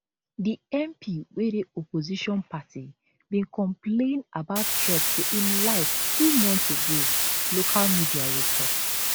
di mp wey dey opposition party bin complain about threats to im life two months ago local media report